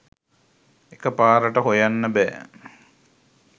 එක පාරට හොයන්න බෑ.